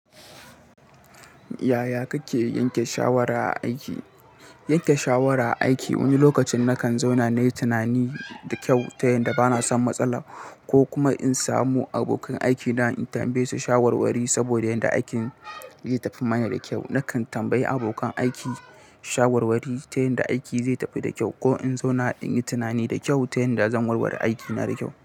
Yaya kake yanke shawara aiki? Yanke shawara aiki wani lokacin nakan zauna nayi tunani da kyau ta yanda bana son matsala ko kuma in samu abokan aikina in tambaye su shawarwari saboda yanda aikin zai tafi mana da kyau. Nakan tambayi abokan aiki shawarwari ta yanda aiki zai tafi da kyau ko in zauna in yi tunani da kyau ta yanda zan warware aikina da kyau.